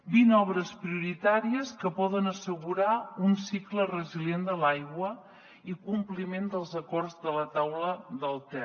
vint obres prioritàries que poden assegurar un cicle resilient de l’aigua i compliment dels acords de la taula del ter